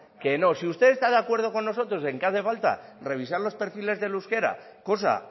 que no si usted está de acuerdo con nosotros en que hace falta revisar los perfiles del euskera cosa